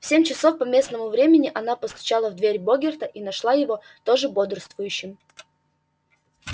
в семь часов по местному времени она постучала в дверь богерта и нашла его тоже бодрствующим